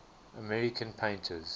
american painters